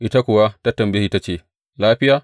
Ita kuwa ta tambaye shi ta ce, Lafiya?